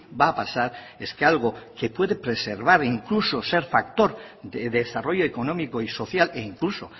va a pasar es que algo que puede preservar incluso ser factor de desarrollo económico y social e incluso